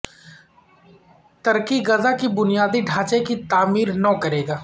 ترکی Gaza کے بنیادی ڈھانچے کی تعمیر نو کرے گا